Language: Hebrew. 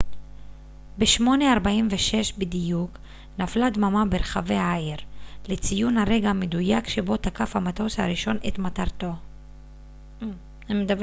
ב-08:46 בדיוק נפלה דממה ברחבי העיר לציון הרגע המדויק שבו תקף המטוס הראשון את מטרתו